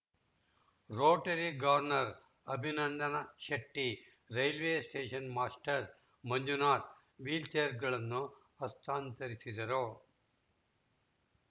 Rotary governor Abhinandana Shetty railway station master Manjunath ವೀಲ್‌ಚೇರ್‌ಗಳನ್ನು ಹಸ್ತಾಂತರಿಸಿದರು